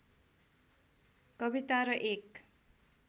कविता र एक